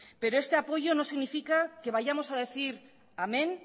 pero este apoyo no significa que vamos a decir amén